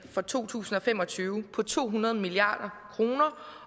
for to tusind og fem og tyve på to hundrede milliard kroner